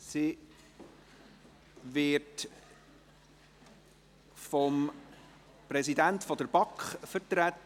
Diese wird vom Präsidenten der BaK hier vertreten.